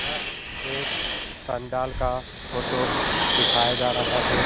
यह एक पंडाल का फोटो दिखाया जा रहा है।